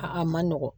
A a man nɔgɔn